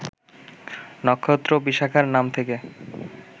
নক্ষত্র বিশাখার নাম থেকে